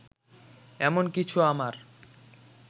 এমন কিছু আমার